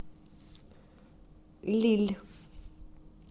лилль